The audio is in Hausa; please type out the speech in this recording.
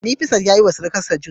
Nefisat yayiwa surukarsa juice